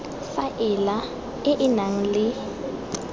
faela e e nang le